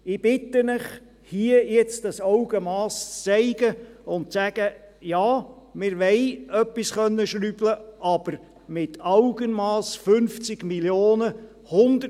Ich bitte Sie, hier nun dieses Augenmass zu zeigen und zu sagen: Ja, wir wollen ein wenig schrauben können, aber mit Augenmass: 50 Mio. Franken.